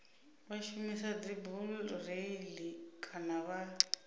vha shumisa dzibureiḽi kana vha